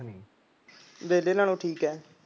ਵਿਹਲੇ ਨਾਲੋਂ ਠੀਕ ਐ